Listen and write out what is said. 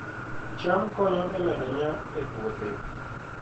cham konyo e medo nyak e puothe